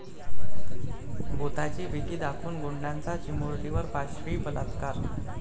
भुताची भीती दाखवून गुंडाचा चिमुरडीवर पाशवी बलात्कार